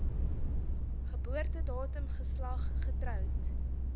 geboortedatum geslag getroud